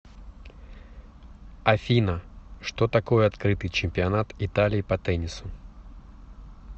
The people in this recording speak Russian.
афина что такое открытый чемпионат италии по теннису